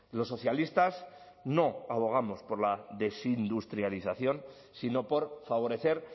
los socialistas no abogamos por la desindustrialización sino por favorecer